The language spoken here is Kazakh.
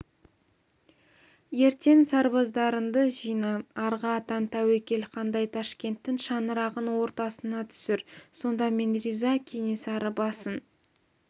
ертең сарбаздарыңды жина арғы атаң тәуекел хандай ташкенттің шаңырағын ортасына түсір сонда мен риза кенесары басын